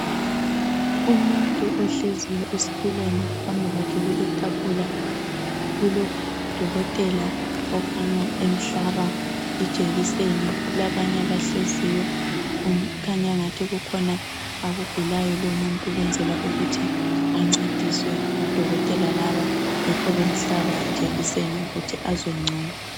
umuntu ohleziyo esitulweni phambi kwakhe kuletafula kulo dokotela okhanya emhlaba ijekiseni kulabanye abahleziyo kukhanya angathi kukhona akugulayo lowu umuntu ukwenzela ukuthi ancediswe ngodokotela laba yikhob emhlaba ijekiseni ukwenzela ukuthi azwe ncono